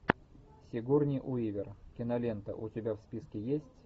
сигурни уивер кинолента у тебя в списке есть